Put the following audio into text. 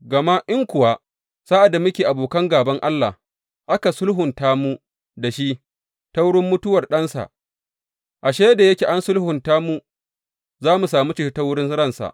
Gama in kuwa, sa’ad da muke abokan gāban Allah, aka sulhunta mu da shi ta wurin mutuwar Ɗansa, ashe, da yake an sulhunta mu, za mu sami ceto ta wurin ransa!